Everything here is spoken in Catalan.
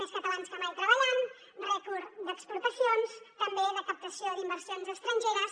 més catalans que mai treballant rècord d’exportacions també de captació d’inversions estrangeres